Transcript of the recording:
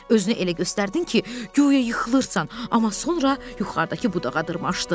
Özünü elə göstərdin ki, guya yıxılırsan, amma sonra yuxarıdakı budağa dırmaşdın.